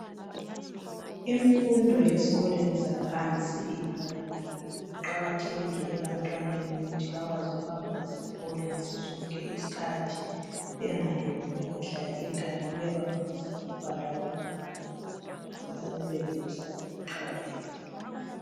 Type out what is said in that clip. Imfundo yezinga laphansi iqakathekile ebantwaneni ukuze bakwazi ukuyohlanganela labanye abantwana. Bayabafundisa ukubhala ukuze bebelekusasa elihle.